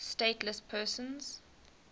stateless persons